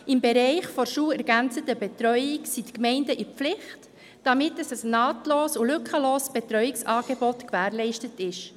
Im Bereich der schulergänzenden Betreuung sind die Gemeinden in der Pflicht, damit ein nahtloses und lückenloses Betreuungsangebot gewährleistet ist.